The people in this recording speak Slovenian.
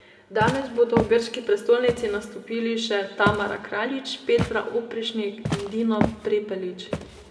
Danes bodo v grški prestolnici nastopili še Tamara Kraljič, Petra Oprešnik in Dino Prepelič.